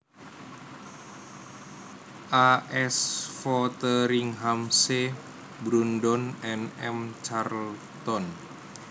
A S Fotheringham C Brunsdon and M Charlton